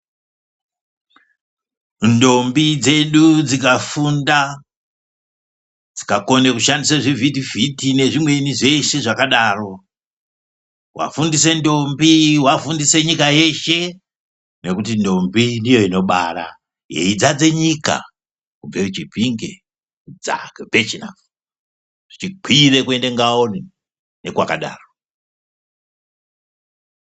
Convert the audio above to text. Ndombi dzedu dzikafunda dzikakone kushandise zvivhitivhiti nezvimweni zveshe zvakadaro, wafundise ndombi wafundise nyika yeshe nekuti ndombi ndiyo inobara yeidzadze nyika kubve Chipinge kudzake Bhechinafu, zveikwire kuende Ngaoni nekwakadaro.